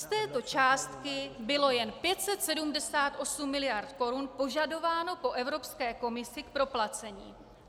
Z této částky bylo jen 578 mld. korun požadováno po Evropské komisi k proplacení.